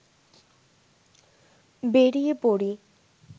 বেরিয়ে পড়ি